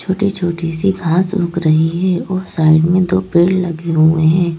छोटी छोटी सी घास उग रही है और साइड में दो पेड़ लगे हुए हैं।